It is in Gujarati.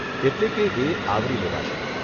એટલે કે એ આવરી લેવાશે.